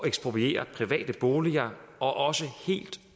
ekspropriere private boliger og også helt